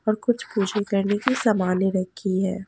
और कुछ पूजों करने की सामानें रखी हैं।